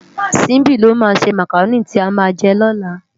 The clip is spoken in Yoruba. Simbi ló má sé mákáróni ti á má jè lòlá